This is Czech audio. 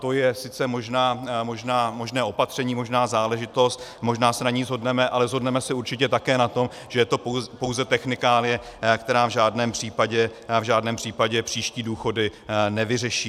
To je sice možné opatření, možná záležitost, možná se na ní shodneme, ale shodneme se určitě také na tom, že je to pouze technikálie, která v žádném případě příští důchody nevyřeší.